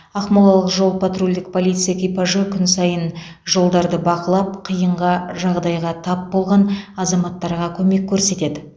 ақмолалық жол патрульдік полиция экипажы күн сайын жолдарды бақылап қиынға жағдайға тап болған азаматтарға көмек көрсетеді